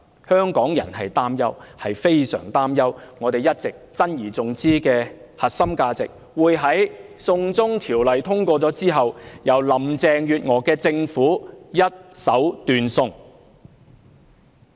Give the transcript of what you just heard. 香港人擔憂、非常擔憂我們一直珍而重之的核心價值，會在"送中條例"通過後，由林鄭月娥帶領的政府一手斷送。